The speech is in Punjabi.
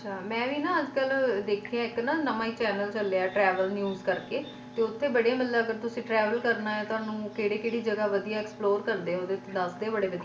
ਮੈ ਵੀ ਨਾ ਅੱਜ ਕਲ ਦੇਖਿਆ ਇੱਕ ਨਾ ਨਾਵਾਂ ਹੀ channel ਚੱਲਿਆ travel news ਕਰਕੇ ਓਥੇ ਬੜੀ ਮੱਤਲਬ ਅਗਰ ਤੁਸੀ travel ਕਰਨਾ ਹੈ ਤੁਹਾਨੂੰ ਕਿਹੜੀ ਕਿਹੜੀ ਜਗਾ ਵਧੀਆ explore ਓਹਦੇ ਵਿਚ ਦਸਦੇ ਬੜੇ ਵਧੀਆ ਤਰੀਕੇ ਨਾਲ